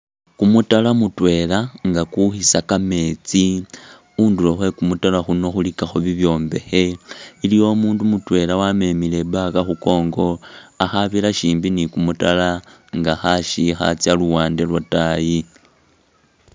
Kumutaala mutwela nga kwikhisa kameetsi nga khundulo khwe kumutaala kuno khulikakho bibyombekhe, iliwo umundu mutwela wamemile i'bag khumukongo akhabira shimbi ni'kumutaala nga khashikha atsa khuluwande lwataayi